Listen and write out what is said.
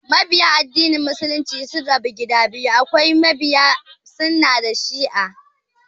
Mabiya addinin Muslunci sun rabu gida biyu, akwai mabiya sunnah da shi'a